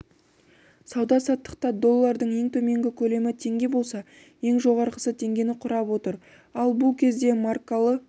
сауда-саттықта доллардың ең төменгі көлемі теңге болса ең жоғарғысы теңгені құрап отыр ал бұл кезде маркалы